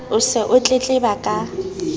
o se o tletleba ka